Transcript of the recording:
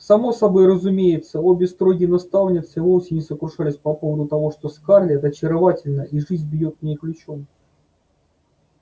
само собой разумеется обе строгие наставницы вовсе не сокрушались по поводу того что скарлетт очаровательна и жизнь бьёт в ней ключом